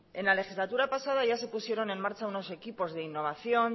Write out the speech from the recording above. en la legislatura pasada ya se pusieron en marcha unos equipos de innovación